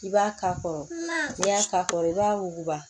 I b'a ka kɔrɔ ni i y'a ka kɔrɔ i b'a wuguba